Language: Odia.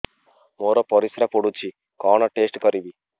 ମୋର ପରିସ୍ରା ପୋଡୁଛି କଣ ଟେଷ୍ଟ କରିବି